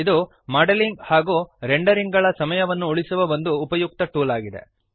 ಇದು ಮಾಡೆಲಿಂಗ್ ಮತ್ತು ರೆಂಡರಿಂಗ್ ಗಳ ಸಮಯವನ್ನು ಉಳಿಸುವ ಒಂದು ಉಪಯುಕ್ತ ಟೂಲ್ ಆಗಿದೆ